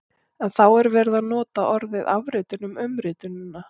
En þá er verið að nota orðið afritun um umritunina!